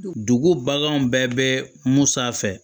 Dugu baganw bɛɛ bɛ mun sanfɛ